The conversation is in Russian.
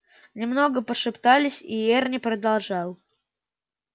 немного пошептались и эрни продолжал